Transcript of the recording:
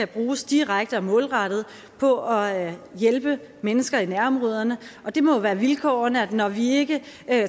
bruges direkte og målrettet på at hjælpe mennesker i nærområderne det må jo være vilkårene at når vi ikke